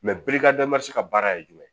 baara ye jumɛn ye